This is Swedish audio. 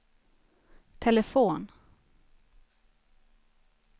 telefon